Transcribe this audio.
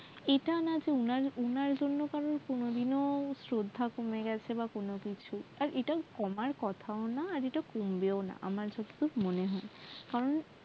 এটা না যে ওনার ওনার জন্য কারও কোনও দিনও স্রধা কমে গেছে বা কোনও কিছু আর এটা কমার কথাও না কম্বেও না আমার যতটুকু মনে হয় কারন